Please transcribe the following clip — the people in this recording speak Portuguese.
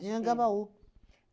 Anhangabaú.